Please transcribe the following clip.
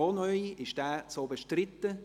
vorher wären es a, b